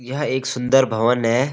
यह एक सुंदर भवन है|